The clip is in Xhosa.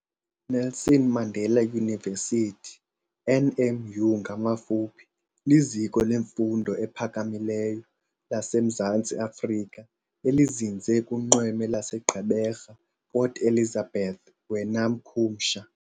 Nelson Mandela University, NMU ngamafuphi, liziko lemfundo ephakamileyo laseMzantsi Afrika elizinze kunxweme laseGqeberha Port Elizabeth wena mkhumsha.